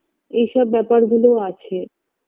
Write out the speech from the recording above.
এইসব ব্যাপার গুলোও আছে